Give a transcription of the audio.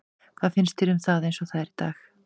Hvað finnst þér um það eins og það er í dag?